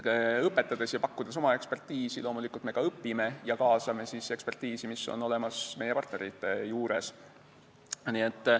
Õpetades ja pakkudes oma eksperditeadmisi me loomulikult ka õpime ja kaasame eksperditeadmisi, mis on olemas meie partneritel.